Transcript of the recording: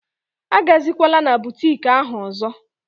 Agazikwala na boutiki ahụ ọzọ!!!